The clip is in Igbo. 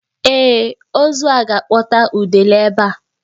Ee, ozu a ga-akpọta udele ebe a.